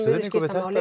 við þetta